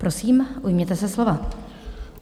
Prosím, ujměte se slova.